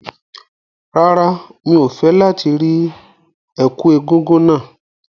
Rárá, mi ò fẹ́ láti rí ẹ̀kú egúngún náà.